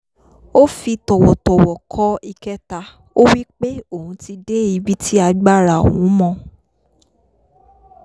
ó fi tọ̀wọ̀tọ̀wọ̀ kọ ìkẹta ó wí pé òun ti dé ibi tí agbára òun mọ